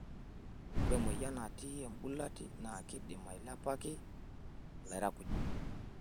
Ore emoyian natii embulati naa keidim ailepaki lairakuj.